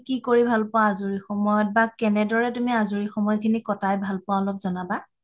কৰি ভাল পোৱা মানে আজৰি সময়ত বা কেনেদৰে তুমি আজৰি সময় খিনি কতায় ভাল পোৱা অলপ জনাবা